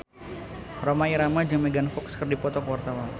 Rhoma Irama jeung Megan Fox keur dipoto ku wartawan